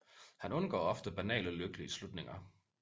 Han undgår ofte banale lykkelige slutninger